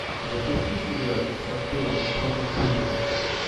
запусти сериальчик с актером джоном гудменом